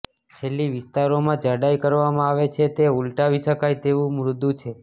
છેલ્લી વિસ્તારોમાં જાડાઈ કરવામાં આવે છે તે ઉલટાવી શકાય તેવું મૃદુ છે